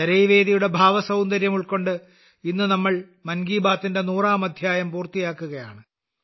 ചരൈവേതിയുടെ ഭാവസൌന്ദര്യം ഉൾക്കൊണ്ട് ഇന്ന് നമ്മൾ മൻ കി ബാത്തിന്റെ 100ാം അദ്ധ്യായം പൂർത്തിയാക്കുകയാണ്